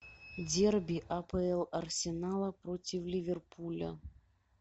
дерби апл арсенала против ливерпуля